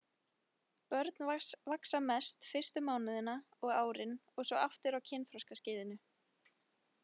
Börn vaxa mest fyrstu mánuðina og árin og svo aftur á kynþroskaskeiðinu.